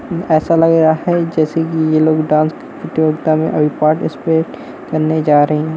ऐसा लग रहा है जैसे की ये लोग डांस प्रतियोगिता मे अभी पार्टिसपेट करने जा रहे हैं।